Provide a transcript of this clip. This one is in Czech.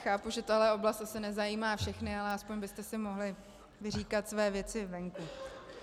Chápu, že tato oblast asi nezajímá všechny, ale aspoň byste si mohli vyříkat své věci venku.